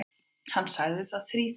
Hann sagði það þríþætt.